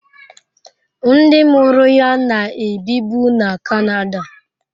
Ndị mụrụ ya na-ebibu na Canada.